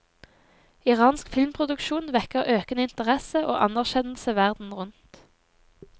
Iransk filmproduksjon vekker økende interesse og anerkjennelse verden rundt.